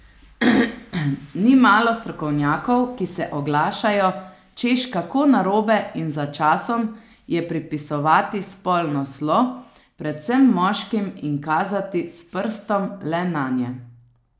Ni malo strokovnjakov, ki se oglašajo, češ kako narobe in za časom je pripisovati spolno slo predvsem moškim in kazati s prstom le nanje.